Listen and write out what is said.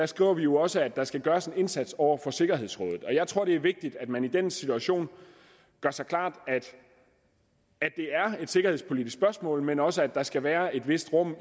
skriver vi jo også at der skal gøres en indsats over for sikkerhedsrådet og jeg tror det er vigtigt at man i den situation gør sig klart at det er et sikkerhedspolitisk spørgsmål men også at der skal være et vist rum